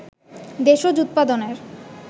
দেশজ উৎপাদনের